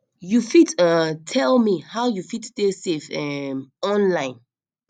you fit um tell me how you fit stay safe um online